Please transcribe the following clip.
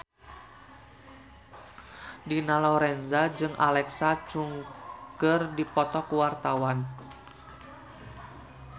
Dina Lorenza jeung Alexa Chung keur dipoto ku wartawan